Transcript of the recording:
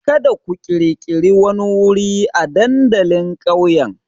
Kada ku ƙirƙiri wani wuri a dandalin ƙauyen!